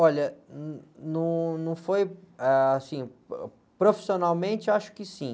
Olha, num, não foi assim, profissionalmente eu acho que sim.